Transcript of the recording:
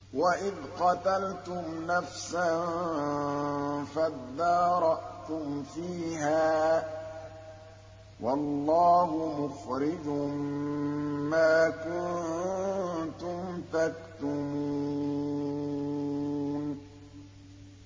وَإِذْ قَتَلْتُمْ نَفْسًا فَادَّارَأْتُمْ فِيهَا ۖ وَاللَّهُ مُخْرِجٌ مَّا كُنتُمْ تَكْتُمُونَ